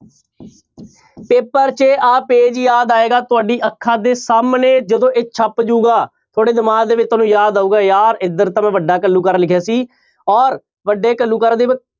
paper 'ਚ ਆਹ page ਯਾਦ ਆਏਗਾ ਤੁਹਾਡੀ ਅੱਖਾਂ ਦੇ ਸਾਹਮਣੇ ਜਦੋਂ ਇਹ ਛਪ ਜਾਉਗਾ, ਤੁਹਾਡੇ ਦਿਮਾਗ ਦੇ ਵਿੱਚ ਤੁਹਾਨੂੰ ਯਾਦ ਆਊਗਾ ਯਾਰ ਇੱਧਰ ਤਾਂ ਮੈਂ ਵੱਡਾ ਘੱਲੂਘਾਰਾ ਲਿਖਿਆ ਸੀ ਔਰ ਵੱਡੇ ਘੱਲੂਘਾਰੇ ਦੇ